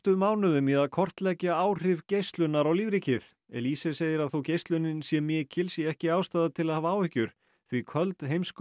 mánuðum í að kortleggja áhrif geislunar á lífríkið segir að þótt geislunin sé mikil sé ekki ástæða til að hafa áhyggjur því köld